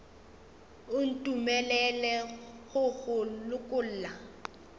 o ntumelele go go lokolla